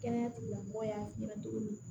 Kɛnɛya tigilamɔgɔya ɲɛna cogo min